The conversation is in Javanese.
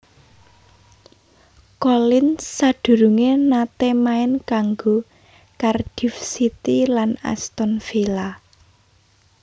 Collins sadurungé naté main kanggo Cardiff City lan Aston Villa